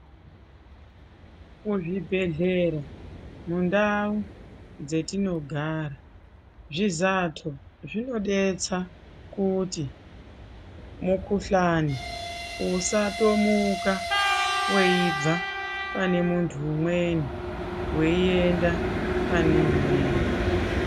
Ku zvibhedhlera mu ndau dze tinogara zvizato zvino detsa kuti mu kuhlani usa tomuka weibva pane muntu umweni wei enda pane umweni.